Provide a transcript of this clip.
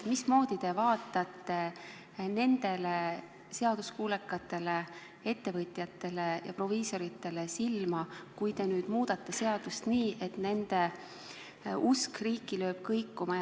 Mismoodi te vaatate nendele seaduskuulekatele ettevõtjatele ja proviisoritele silma, kui te nüüd muudate seadust nii, et nende usk riiki lööb kõikuma?